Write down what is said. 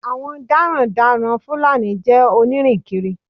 Àwọn darandaran Fúlàní jẹ́ onírìnkiri.